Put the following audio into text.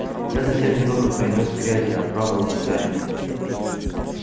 я совсем немного принёс грязи оправдывался гарри